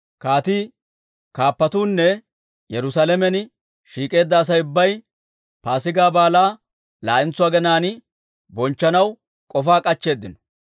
Kaatii, kaappatuunne, Yerusaalamen shiik'eedda Asay ubbay Paasigaa Baalaa laa'entso aginaan bonchchanaw k'ofaa k'achcheeddino.